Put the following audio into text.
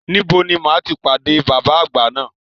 Níbo ni máa ti pàdé bàbá àgbà náà?